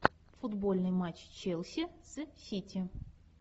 футбольный матч челси с сити